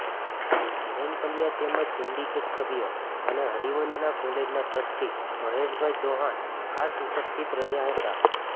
ધીરેન પંડયા તેમજ સિન્ડીકેટ સભ્યો અને હરિવંદના કોલેજના ટ્રસ્ટી મહેશભાઈ ચૌહાણ ખાસ ઉપસ્થિત રહ્યા હતા